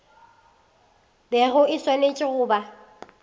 bego e swanetše go ba